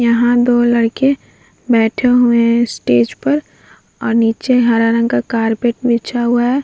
यहाँ दो लड़के बैठे हुए हैं स्टेज पर और नीचे हरा रंग का कार्पेट बिछा हुआ है।